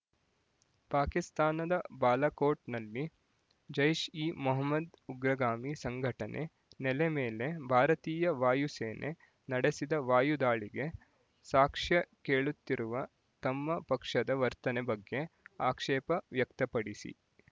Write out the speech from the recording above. ಪಾಕಿಸ್ತಾನದ ಬಾಲಕೋಟ್ ನಲ್ಲಿ ಜೈಶ್ಎಮೊಹ್ಮದ್ ಉಗ್ರಗಾಮಿ ಸಂಘಟನೆ ನೆಲೆ ಮೇಲೆ ಭಾರತೀಯ ವಾಯು ಸೇನೆ ನಡೆಸಿದ ವಾಯು ದಾಳಿಗೆ ಸಾಕ್ಷ್ಯ ಕೇಳುತ್ತಿರುವ ತಮ್ಮ ಪಕ್ಷದ ವರ್ತನೆ ಬಗ್ಗೆ ಆಕ್ಷೇಪ ವ್ಯಕ್ತಪಡಿಸಿ